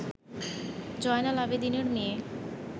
জয়নাল আবেদীনের মেয়ে